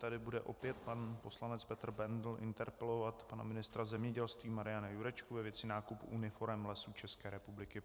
Tady bude opět pan poslanec Petr Bendl interpelovat pana ministra zemědělství Mariana Jurečku ve věci nákupu uniforem Lesům České republiky.